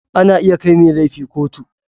Ana iya kai mai laifi kotu.